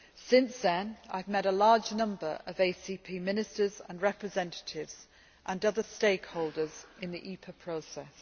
Since then, I have met a large number of ACP ministers and representatives and other stakeholders in the EPA process.